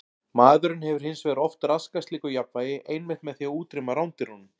Maðurinn hefur hins vegar oft raskað slíku jafnvægi einmitt með því að útrýma rándýrunum.